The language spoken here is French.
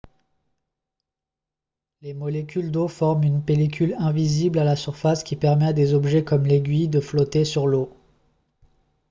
les molécules d'eau forment une pellicule invisible à la surface qui permet à des objets comme l'aiguille de flotter sur l'eau